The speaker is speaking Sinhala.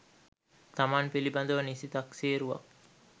තමන් පිළිබඳව නිසි තක්සේරුවක්